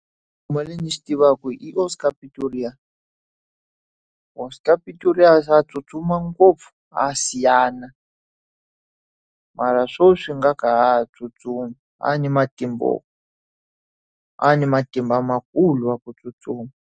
Ndzi xi tivaka hi Oscar Pistorius. Oscar Pistorius a tsutsuma ngopfu, a siyana. Mara sweswi ngaku a nga ha tsutsumi. A ri na a ri na matimba makulu ma ku tsustuma.